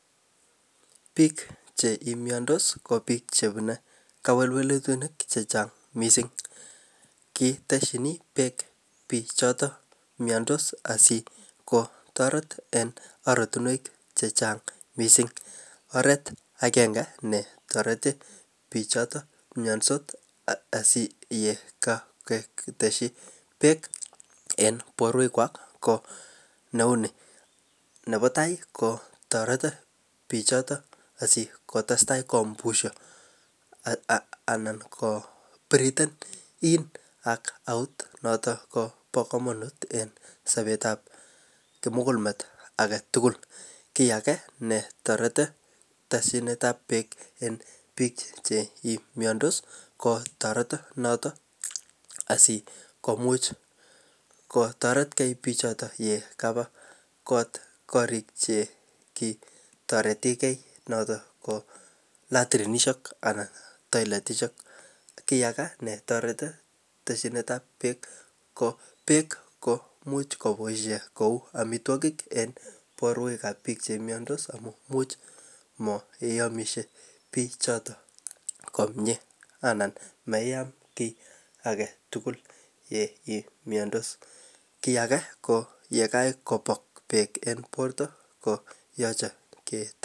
Bik chemiandos ko bik chemune kewelutik chechang, kitestin bek bik choton asi kotareti en oratuniek chechang missing ko oret agenge ne tareti bich choton miandos yekaketeyi bek en borwekuag neoni. Nebo tai kotareti bik chaton asikotestai ko breath in and out ak noton ko ba kamanut en sabetab komugul met agetugul kiage netareti tesyinetab bek en chito ko ko tareti noton asikomuch kotareti ke bichoto Yaba korik che ki tarete ge naton latrinisiek anan tailetisiek kiage netareti tesyinetab bek ko much kobaishien yeamishe bik choton komie anan maiam kiagetugul ye , kiage ko ye kakobek bek en borta ih ko yache ketesyi